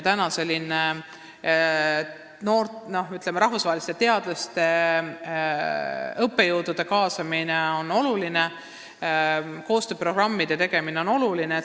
Täna on rahvusvaheliselt teadlaste ja õppejõudude kaasamine oluline, koostööprogrammide tegemine on oluline.